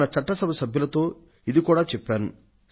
మన చట్ట సభ సభ్యులతో ఇది కూడా చెప్పాను